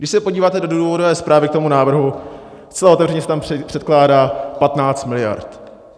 Když se podíváte do důvodové zprávy k tomu návrhu, zcela otevřeně se tam předkládá 15 miliard.